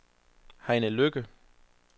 Heine Lykke